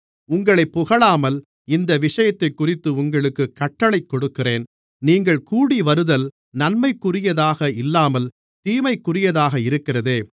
உங்களைப் புகழாமல் இந்த விஷயத்தைக்குறித்து உங்களுக்குக் கட்டளைக் கொடுக்கிறேன் நீங்கள் கூடிவருதல் நன்மைக்குரியதாக இல்லாமல் தீமைக்குரியதாக இருக்கிறதே